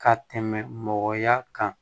Ka tɛmɛ mɔgɔya kan